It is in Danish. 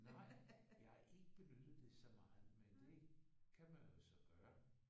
Nej. Jeg har ikke benyttet det så meget men det kan man jo så gøre